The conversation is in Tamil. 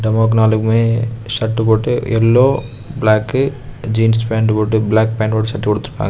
பொம்மைக்கு நாலுமே ஷர்ட் போட்டு எல்லோ பிளாக் ஜீன்ஸ் பேண்ட் போட்டு பிளாக் பேண்ட் ஷர்ட் போட்டுருக்காங்க.